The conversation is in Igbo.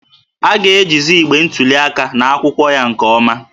A ga-ejizi igbe ntuli aka na akwụkwọ ya nke ọma